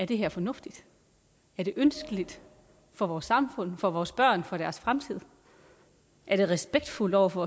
det her er fornuftigt er det ønskeligt for vores samfund for vores børn og for deres fremtid er det respektfuldt over for